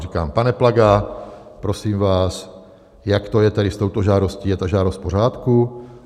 Říkám: Pane Plaga, prosím vás, jak to je tedy s touto žádostí, je ta žádost v pořádku?